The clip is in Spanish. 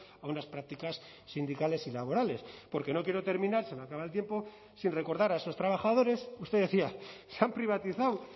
a unas prácticas sindicales y laborales porque no quiero terminar se me acaba el tiempo sin recordar a esos trabajadores usted decía se han privatizado